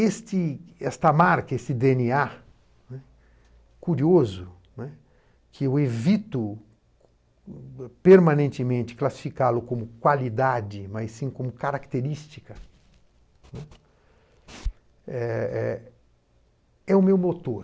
Este esta marca, esse dê ene á, né, curioso, né, que eu evito permanentemente classificá-lo como qualidade, mas sim como característica, né, eh eh é o meu motor.